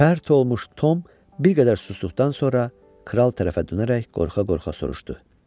Pərt olmuş Tom bir qədər susduqdan sonra kral tərəfə dönərək qorxa-qorxa soruşdu: